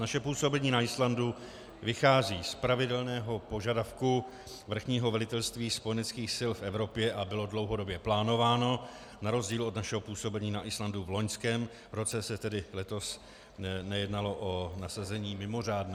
Naše působení na Islandu vychází z pravidelného požadavku Vrchního velitelství spojeneckých sil v Evropě a bylo dlouhodobě plánováno, na rozdíl od našeho působení na Islandu v loňském roce se tedy letos nejednalo o nasazení mimořádné.